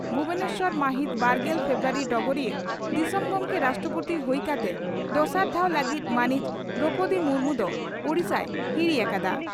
ᱵᱷᱩᱵᱚᱱᱮᱥᱚᱨ ᱢᱟᱦᱤᱛ ᱵᱟᱨᱜᱮᱞ ᱯᱷᱮᱵᱨᱩᱣᱟᱨᱤ (ᱰᱚᱜᱚᱨᱤᱭᱟᱹ) ᱺ ᱫᱤᱥᱚᱢ ᱜᱚᱢᱠᱮ (ᱨᱟᱥᱴᱨᱚᱯᱳᱛᱤ) ᱦᱩᱭ ᱠᱟᱛᱮ ᱫᱚᱥᱟᱨ ᱫᱷᱟᱣ ᱞᱟᱹᱜᱤᱫ ᱢᱟᱹᱱᱤᱡ ᱫᱨᱚᱣᱯᱚᱫᱤ ᱢᱩᱨᱢᱩ ᱫᱚ ᱳᱰᱤᱥᱟᱭ ᱦᱤᱨᱤ ᱟᱠᱟᱫᱼᱟ ᱾